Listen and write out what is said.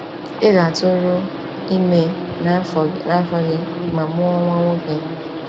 Ị ga-atụrụ ime n’afọ gị ma mụọ nwa nwoke.